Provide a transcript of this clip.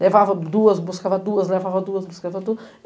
Levava duas, buscava duas, levava duas, buscava duas.